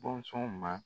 Bɔnsɔnw ma